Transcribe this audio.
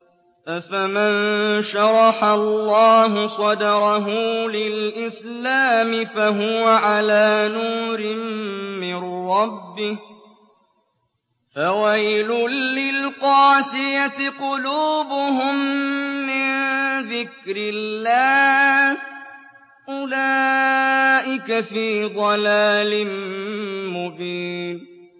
أَفَمَن شَرَحَ اللَّهُ صَدْرَهُ لِلْإِسْلَامِ فَهُوَ عَلَىٰ نُورٍ مِّن رَّبِّهِ ۚ فَوَيْلٌ لِّلْقَاسِيَةِ قُلُوبُهُم مِّن ذِكْرِ اللَّهِ ۚ أُولَٰئِكَ فِي ضَلَالٍ مُّبِينٍ